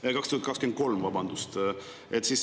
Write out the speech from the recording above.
Ei, 2023 – vabandust!